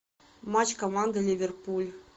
матч команды ливерпуль